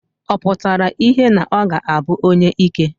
Ọ pụtara ìhè na ọ ga-abụ onyeike.